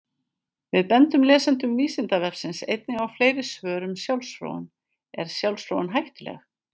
Við bendum lesendum Vísindavefsins einnig á fleiri svör um sjálfsfróun: Er sjálfsfróun hættuleg?